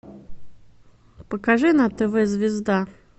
покажи на тв звезда